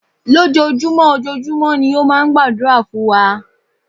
Lójojúmọ́, ojojúmọ́ ni ó máa ń gbàdúrà fún wa.